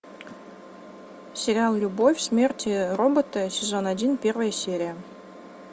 сериал любовь смерть и роботы сезон один первая серия